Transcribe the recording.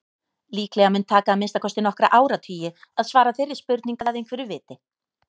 Líklega mun taka að minnsta kosti nokkra áratugi að svara þeirri spurningu að einhverju viti.